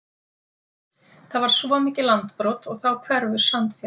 Það var svo mikið landbrot og þá hverfur sandfjaran.